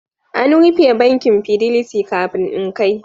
An rufe bankin Fidelity kafin in kai